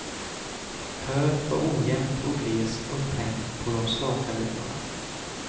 Höet var ojämnt och glest upphängt på de slaka linorna.